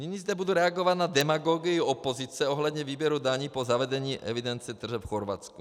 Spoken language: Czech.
Nyní zde budu reagovat na demagogii opozice ohledně výběru daní po zavedení evidence tržeb v Chorvatsku.